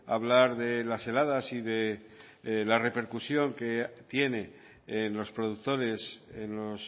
hablar de las heladas y de la repercusión que tiene en los productores en los